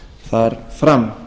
þar fram